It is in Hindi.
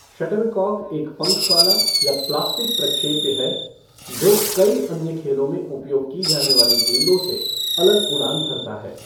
शटलकॉक एक पँख वाला या प्लास्टिक प्रक्षेप्य है जो कई अन्य खेलों में उपयोग की जाने वाली गेंदों से अलग उड़ान भरता है।